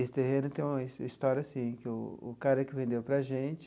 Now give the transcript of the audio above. Esse terreno tem uma his história assim, que o o cara que vendeu para gente,